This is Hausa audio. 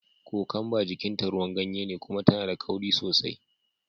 Kokwamba jikin ta ruwan ganye ne kuma tana da kauri sosai.